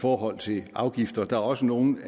forhold til afgifter der er også nogle